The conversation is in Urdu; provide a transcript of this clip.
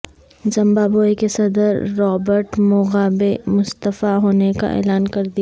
زمبابوے کے صدر رابرٹ موگابے مستعفی ہونے کا اعلان کردیا